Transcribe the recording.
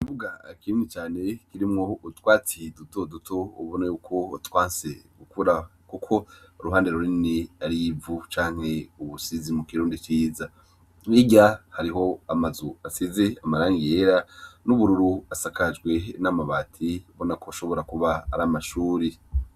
Ikibuga kinini cane kirimwo utwatsi dutoduto ubona ko twanse gukura kuko uruhande runini arivu canke ubusize mukirundi ciza, hirya hariho amazu asize irangi ryera n'ubururu asakajwe n'amabati ubonako ashobora kuba aramashuri.